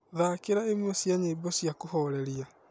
thakĩra ĩmwe cia nyĩmbo cĩa kuhoreria